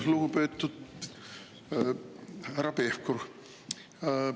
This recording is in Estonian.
Lugupeetud härra Pevkur!